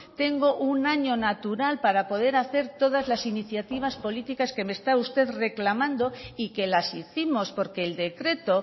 tengo un año natural para poder hacer todas las iniciativas políticas que me está usted reclamando y que las hicimos porque el decreto